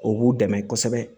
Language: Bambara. O b'u dɛmɛ kosɛbɛ